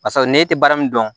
Barisa n'e tɛ baara min dɔn